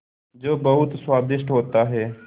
जो बहुत स्वादिष्ट होता है